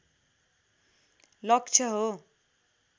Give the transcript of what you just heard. लक्ष्य हो